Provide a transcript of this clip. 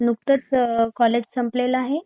नुकतंच अ कॉलेज संपलेल आहे